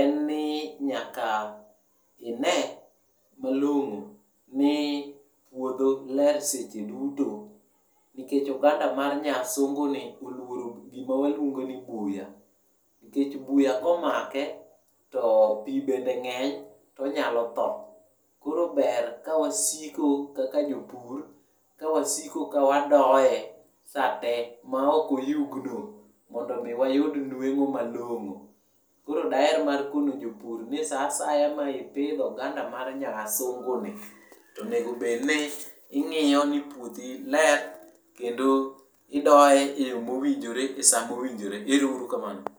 en ni nyaka ine malong'o ni puodho ler seche duto nikech oganda mar nyasungu ni oluoro gima waluongo ni buya, nikech buya komake to pii bende ng'eny to onyalo tho. Koro ber ka wasiko kaka jopur ka wasiko ka wadoye sate ma ok oyugno mondo mi wayud nwengo malongo. Koro daher mar kono jopur ni saa asaya ma ipidho oganda mar nyasungu ni to onego obed ni ingiyo ni puothi ler kendo idoye e yoo mowinjore e saa mowinjore, erourukamano